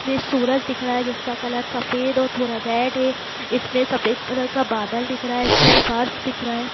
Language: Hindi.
इसमें सूरज दिख रहा है जिसका कलर सफ़ेद और थोड़ा रेड है इसमें सफ़ेद कलर का बादल दिख रहा है इसमें फ़र्श दिख रहा है।